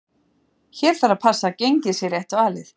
Hér þarf að passa að gengið sé rétt valið.